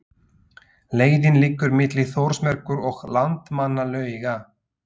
Leiðin liggur milli Þórsmerkur og Landmannalauga.